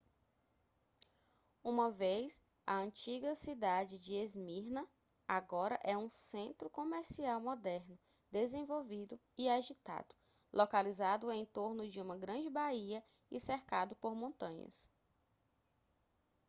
uma vez a antiga cidade de esmirna agora é um centro comercial moderno desenvolvido e agitado localizado em torno de uma grande baía e cercado por montanhas